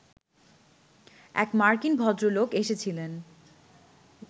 এক মার্কিন ভদ্রলোক এসেছিলেন